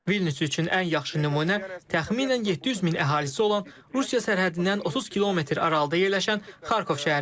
Vilnius üçün ən yaxşı nümunə təxminən 700 min əhalisi olan Rusiya sərhədindən 30 kilometr aralıda yerləşən Xarkov şəhəridir.